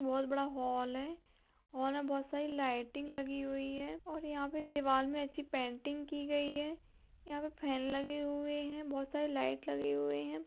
बहुत बड़ा हॉल है हॉल में बहुत सारी लइटिंग लगी हुई है और यहाँ पे दीवाल में अच्छी पेंटिंग की गयी है यहां पर फेन लगी हुई है बहुत सारी लाइट लगी हुई है।